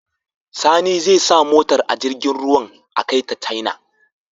Sani zai sa motar a jirgin ruwan a kai ta china